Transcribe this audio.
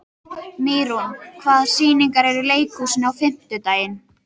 Mýrún, hvaða sýningar eru í leikhúsinu á fimmtudaginn?